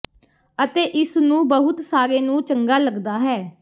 ਅਤੇ ਇਸ ਨੂੰ ਬਹੁਤ ਸਾਰੇ ਨੂੰ ਚੰਗਾ ਲੱਗਦਾ ਹੈ